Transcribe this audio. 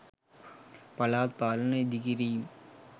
පළාත් පාලන ඉඳිකිරීම්